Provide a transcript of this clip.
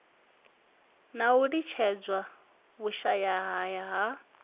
na u litshedzelwa vhushayahaya ha